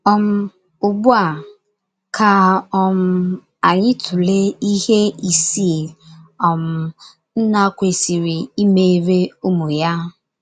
um Ugbu a, ka um anyị tụlee ihe ịsii um nna kwesịrị ịmere ụmụ ya.